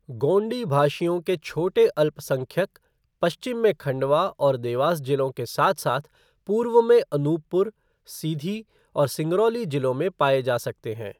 गोंडी भाषियों के छोटे अल्पसंख्यक पश्चिम में खंडवा और देवस जिलों के साथ साथ पूर्व में अनूपपुर, सिधी और सिंगरौली जिलों में पाए जा सकते हैं।